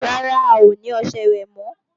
Rárá, a ò ní ọṣẹ ìwẹ̀ mọ́